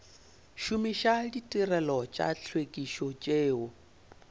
šomiša ditirelo tša tlhwekišo tšeo